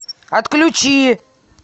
отключи